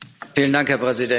Herr Präsident!